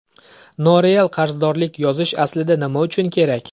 Noreal qarzdorlik yozish aslida nima uchun kerak?